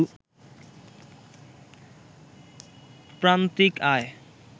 প্রান্তিক আয়